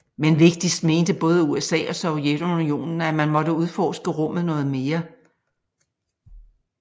Men vigtigst mente både USA og Sovjetunionen at man måtte udforske rummet noget mere